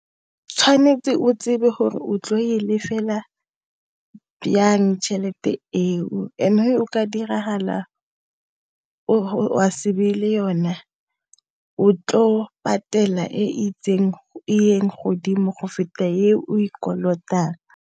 Tshwanetse o tsebe gore o tlo e lefela yang tšhelete eo, and-e ga go diragala o a se be le yona o tlo patela e itseng e yeng godimo go feta e o e kolotang.